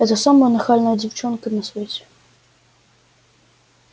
это самая нахальная девчонка на свете